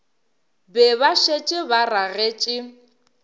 be ba šetše ba ragetše